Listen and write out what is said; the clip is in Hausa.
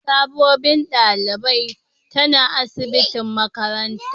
Sabobin dalibain tana asibitin makarantan.